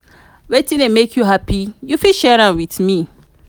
wetin dey make you happy you fit share with me.